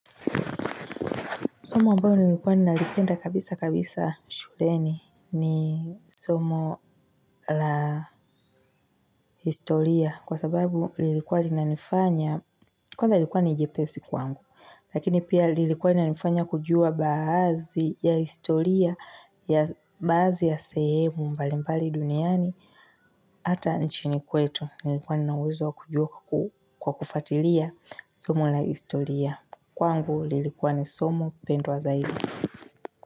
Somo ambalo nilikuwa nalipenda kabisa kabisa shuleni ni somo la historia kwa sababu lilikuwa linanifanya kwanza ilikuwa ni jepesi kwangu. Lakini pia lilikuwa linanifanya kujua baazi ya historia ya baazi ya sehemu mbali mbali duniani. Hata nchini kwetu nilikuwa ninauwezo wakujua kwa kufatilia somo la historia kwangu lilikuwa ni somo pendwa zaidi.